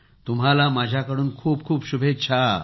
तुम्हाला माझ्याकडून खूप खूप शुभेच्छा